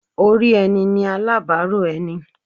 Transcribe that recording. Orí ẹni ni alábàárò ẹni.